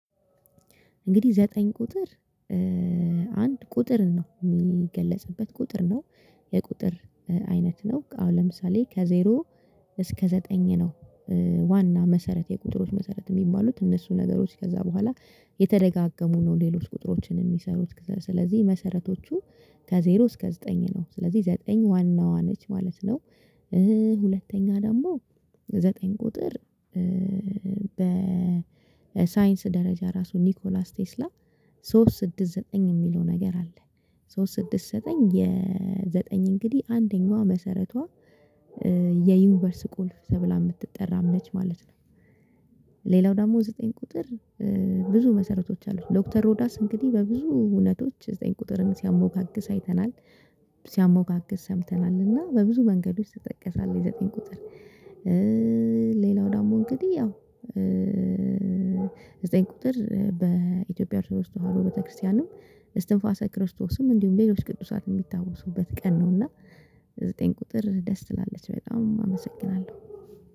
እንግዲህ ዘጠኝ ቁጥር አንድ ቁጥር ነው የሚገለጽበት ቁጥር ነው የቁጥር አይነት ነው አሁን ለምሳሌ ከዜሮ እስከ ዘጠኝ ነው። ዋና መሰረት የቁጥሮች መሰረት የሚባሉት እነሱ ነገሮች ከዛ በኋላ የተደጋገሙ ነው። ሌሎች ቁጥሮችን የሚሰሩት ስለዚህ መሰረቶቹ ከዜሮ እስከ ዘጠኝ ነው ስለዚህ ዘጠኝ ዋናዋ ነች ማለት ነው። ሁለተኛ ደግሞ ዘጠኝ ቁጥር በሳይንስ ደረጃ ራሱ ኒኮላስ ቴስላም ሶስት ስድስት ዘጠኝ የሚለው ነገር አለ። ሶስት ስድስት ዘጠኝ የዘጠኝ እንግዲህ አንደኛዋ መሰረቷ በሳይንስ ደረጃ ራሱ ኒኮላስ። ቴስላም ሶስት ስድስት ዘጠኝ የሚለው ነገር አለ። ሶስት ስድስት ዘጠኝ የዘጠኝ እንግዲህ አንደኛዋ መሰረቷ ሌላው ዳሞ እንግዲህ ያው ዘጠኝ ቁጥር። በኢትዮጵያ ርዕሰ ወስደህና ቤተክርስቲያንም እስትንፋሰ ክርስቶስም እንዲሁም ሌሎች ቅዱሳን የሚታወሱበት ቀን ነውና። ዘጠኝ ቁጥር ደስ ትላለች በጣም አመሰግናለሁ